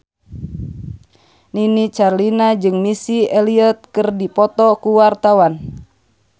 Nini Carlina jeung Missy Elliott keur dipoto ku wartawan